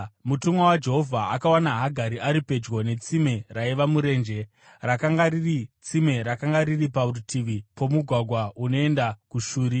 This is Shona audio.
Mutumwa waJehovha akawana Hagari ari pedyo netsime raiva murenje; rakanga riri tsime rakanga riri parutivi pomugwagwa unoenda kuShuri.